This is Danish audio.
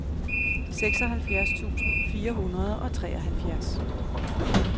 seksoghalvfjerds tusind fire hundrede og treoghalvfjerds